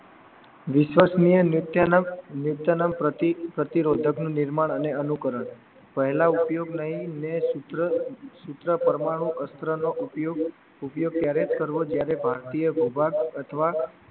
વિશ્વાસ પ્રતિરોધક નું નિર્માણ અને અનુકરણ પહેલા ઉપયોગ નહીં ને સૂત્ર પરમાણુ અસ્ત્રનો ઉપયોગ ઉપયોગ ક્યારે કરવો જ્યારે ભારતીય વિભાગ અથવા